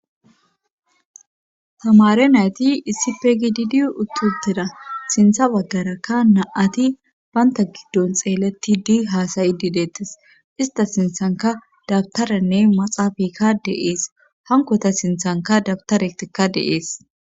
tamare nayti issipe gididiyo uttutira sintha waggarakka naati baynta giddon xeeletti di haasayi dideettes ista sinthanka dabtaranne maxaafakka deees hankota sinthanka dabtaretkka deees.